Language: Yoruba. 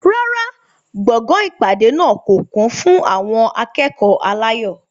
Rárá, gbọ̀ngàn ìpàdé náà kò kún fún àwọn akẹ́kọ̀ọ́ aláyọ̀.